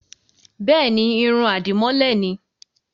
Bẹ́ẹ̀ni, irun àdìmọ́lẹ̀ ni.